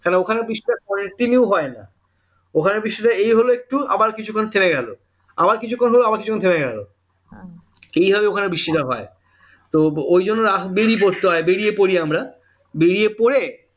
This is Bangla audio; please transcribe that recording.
ওখানে বৃষ্টিটা continue হয়না ওখানে বৃষ্টিটা এই হল একটু আবার কিছুক্ষণ ছেড়ে গেল আবার কিছুক্ষণ হলো আবার কিছুক্ষণ থেমে গেল এইভাবে ওখানে বৃষ্টি টা হয় তো ওই জন্যই রাতদিন বসতে হয় বেরিয়ে পড়ি আমরা বেরিয়ে পড়ে